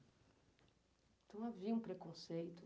Então, havia um preconceito?